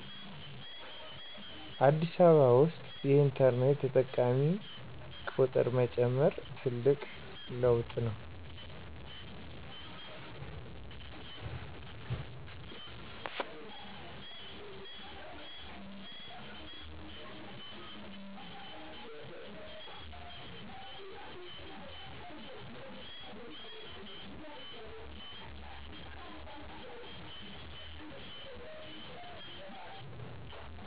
አዲስ አበባ ውስጥ የኢንተርኔት ተጠቃሚ ጥቁር መጨመር ትልቅ ለውጥ ነው።